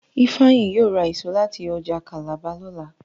Ifeanyi yíò ra èso láti ọjà Calabar lọla